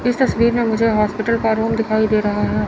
इस तस्वीर में मुझे हॉस्पिटल का रूम दिखाई दे रहा हैं।